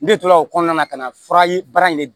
Ne tora o kɔnɔna na ka na fura ye baara in ne dun